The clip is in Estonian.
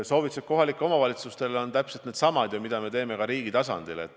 Soovitused kohalikele omavalitsustele on täpselt needsamad, mida me anname ka riigi tasandil.